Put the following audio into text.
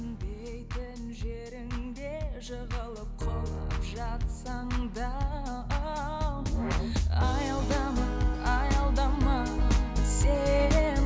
жеріңде жығылып құлап жатсаң да аялдама аялдама сен